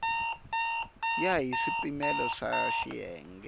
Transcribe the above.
ya hi swipimelo swa xiyenge